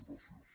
gràcies